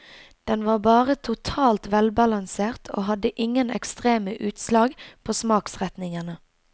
Den var bare totalt velbalansert og hadde ingen ekstreme utslag på smaksretningene.